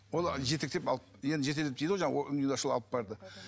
ол жетектеп алып енді жетектеп дейді ғой алып барды